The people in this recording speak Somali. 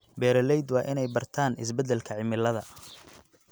Beeraleydu waa inay bartaan isbeddelka cimilada.